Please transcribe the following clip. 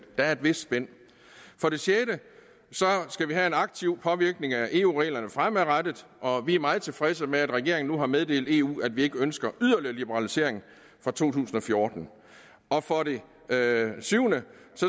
der er et vist spænd for det sjette skal vi have en aktiv påvirkning af eu reglerne fremadrettet og vi er meget tilfredse med at regeringen nu har meddelt eu at vi ikke ønsker yderligere liberalisering fra to tusind og fjorten for det syvende